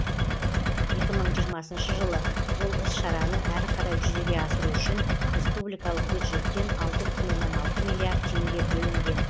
екі мың жиырмасыншы жылы бұл іс шараны әрі қарай жүзеге асыру үшін республикалық бюджеттен алты бүтін оннан алты миллиард теңге бөлінген